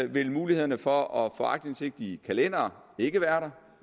vil muligheden for at få aktindsigt i kalendere ikke være